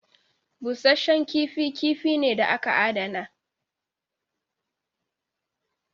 Busashen kifi kifi ne da aka adana.